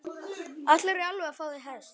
Ætlarðu í alvöru að fá þér hest?